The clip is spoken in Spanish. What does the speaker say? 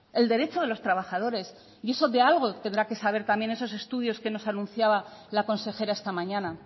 el derecho de los trabajadores y eso de algo tendrá que valer también esos estudios que nos anunciaba la consejera esta mañana